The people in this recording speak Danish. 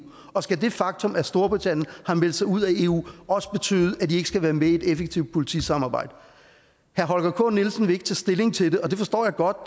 og skal det faktum at storbritannien har meldt sig ud af eu også betyde at de ikke skal være med i et effektivt politisamarbejde herre holger k nielsen vil ikke stilling til det og det forstår jeg godt